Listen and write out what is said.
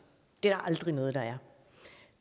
det aldrig noget der